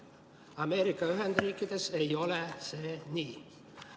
Ameerika Ühendriikides ei ole see nii.